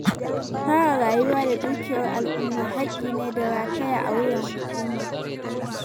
Kare rayuwa da dukiyar al'umma haƙƙi ne da rataya a wuyan hukuma.